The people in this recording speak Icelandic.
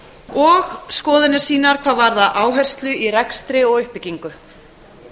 og skoðanir sínar hvað varðar áherslu í rekstri og uppbyggingu